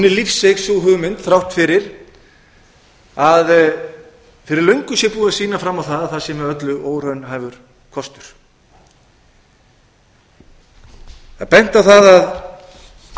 lífseig sú hugmynd þrátt fyrir að fyrir löngu sé búið að sýna fram á það að það sé með öllu óraunhæfur kostur það er